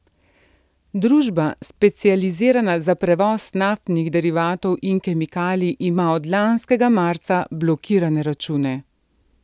Družba, specializirana za prevoz naftnih derivatov in kemikalij, ima od lanskega marca blokirane račune.